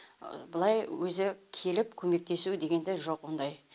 былай өзі келіп көмектесу дегенде жоқ ондай